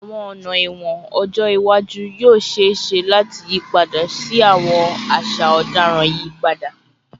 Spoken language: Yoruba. Awọn ọna ẹwọn ọjọ iwaju yoo ṣee ṣe lati yipada si awọn aṣa ọdaràn iyipada